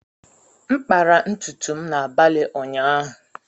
M kpara ntutu m n’abalị ụnyaahụ.